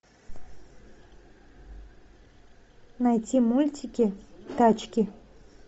найти мультики тачки